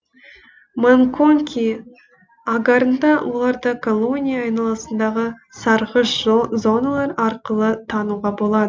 ман конки агарында оларды колония айналасындағы сарғыш зоналар арқылы тануға болады